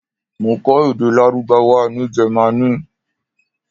Mo kó èdè Lárúbáwá ní Jẹ́mánì.